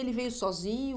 Ele veio sozinho?